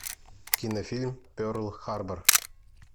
кинофильм перл харбор